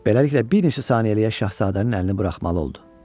Beləliklə, bir neçə saniyəliyə şahzadənin əlini buraxmalı oldu.